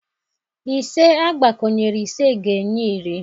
Ise agbakọnyere ise ga-enye iri.